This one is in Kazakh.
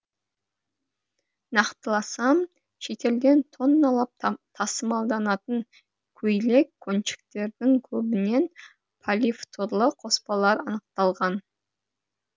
нақтыласам шетелден тонналап тасымалданатын көйлек көншіктердің көбінен полифторлы қоспалар анықталған